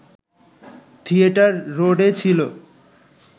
theatre রোডে ছিল